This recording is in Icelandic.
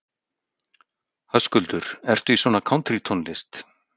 Höskuldur: Ertu í svona kántrítónlist?